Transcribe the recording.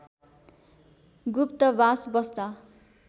गुप्तबास बस्दा